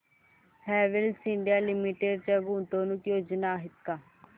Havells India limited च्या गुंतवणूक योजना आहेत का